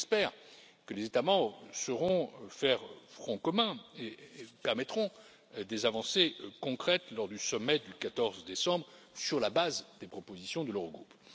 J'espère que les États membres sauront faire front commun et permettront des avancées concrètes lors du sommet du 14 décembre, sur la base des propositions de l'Eurogroupe.